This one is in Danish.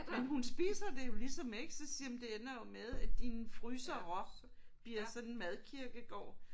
Men hun spiser det jo ligesom ikke så siger jeg men det ender jo med at dine frysere bliver sådan en madkirkegård